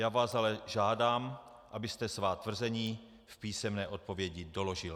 Já vás ale žádám, abyste svá tvrzení v písemné odpovědi doložil.